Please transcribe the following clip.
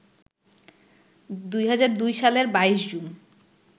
২০০২ সালের ২২ জুন